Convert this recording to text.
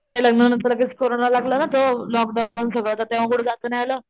लग्ना नंतर लगेच कोरोना लागला ना तर लॉकडाऊन सगळं तर तेव्हा कुठं जाता नाही आलं.